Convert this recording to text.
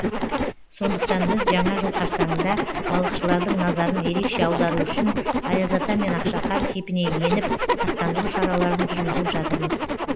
сондықтан біз жаңа жыл қарсаңында балықшылардың назарын ерекше аудару үшін аяз ата мен ақшақар кейпіне еніп сақтандыру шараларын жүргізіп жатырмыз